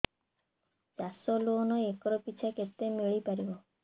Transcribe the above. ଚାଷ loan acre ପିଛା କେତେ ମିଳି ପାରିବ